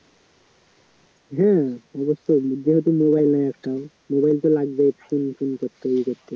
হ্যা যেহেতু mobile নাই একটাও mobile তো লাগবেই phone টোন করতে